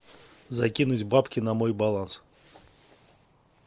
закинуть бабки на мой баланс